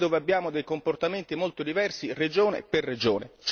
altri dove abbiamo dei comportamenti molto diversi regione per regione.